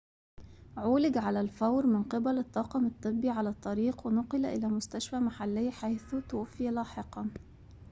عولج على الفور من قبل الطاقم الطبي على الطريق ونُقل إلى مستشفى محلي حيث توفي لاحقاً